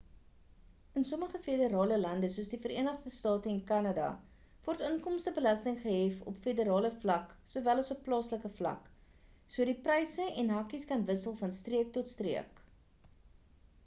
in sommige federale lande soos die verenigde state en kanada word inkomstebelasting gehef op federale vlak sowel as op plaaslike vlak so die pryse en hakies kan wissel van streek tot streek